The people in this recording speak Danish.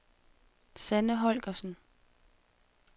Sanne Holgersen